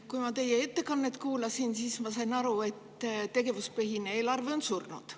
Kui ma teie ettekannet kuulasin, siis ma sain aru, et tegevuspõhine eelarve on surnud.